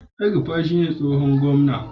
El-rufai shi ne tsohon gwamna.